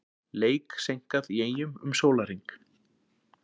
Leik seinkað í Eyjum um sólarhring